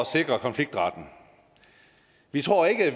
sikre konfliktretten vi tror ikke at